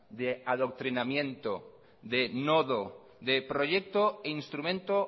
de adoctrinamiento de nodo de proyecto e instrumento